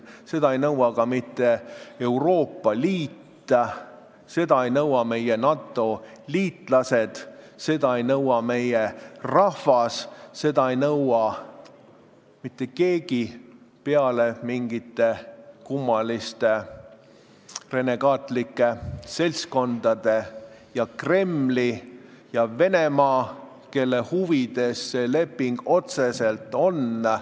Seda ei nõua ka mitte Euroopa Liit, seda ei nõua meie NATO liitlased, seda ei nõua meie rahvas, seda ei nõua mitte keegi peale mingite kummaliste renegaatlike seltskondade ning Kremli ja Venemaa, kelle huvides see leping otseselt on.